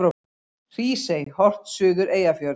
Hrísey, horft suður Eyjafjörð.